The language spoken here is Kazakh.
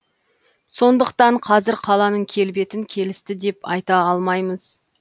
сондықтан қазір қаланың келбетін келісті деп айта алмаймыз